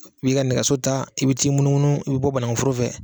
I b'i ka nɛgɛso ta i bɛ t'i munumunu i bɛ bɔ banankuforo fɛ.